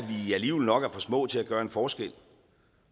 vi alligevel nok er for små til at gøre en forskel